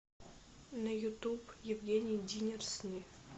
на ютуб евгений динер сны